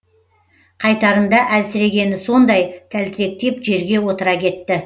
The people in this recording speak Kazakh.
қайтарында әлсірегені сондай тәлтіректеп жерге отыра кетті